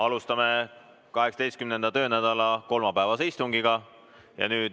Alustame 18. töönädala kolmapäevast istungit.